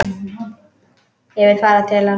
Ég vil fara til hans.